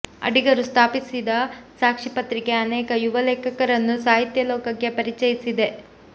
ಅಡಿಗರು ಸ್ಥಾಪಿಸಿದ ಸಾಕ್ಷಿ ಪತ್ರಿಕೆ ಅನೇಕ ಯುವ ಲೇಖಕರನ್ನು ಸಾಹಿತ್ಯ ಲೋಕಕ್ಕೆ ಪರಿಚಯಿಸಿದೆ